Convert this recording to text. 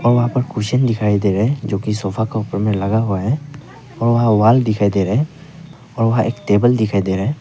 वहां पर कुर्सीयन दिखाई दे रहे है जो की सोफा का ऊपर में लगा हुआ है और वहां वाल दिखाई दे रहा है और वह एक टेबल दिखाई दे रहा हैं।